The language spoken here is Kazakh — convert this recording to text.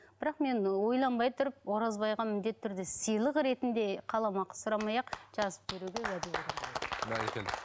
бірақ мен ойланбай тұрып оразбайға міндетті түрде сыйлық ретінде қаламақы сұрамай ақ жазып беруге уәде беремін бәрекелді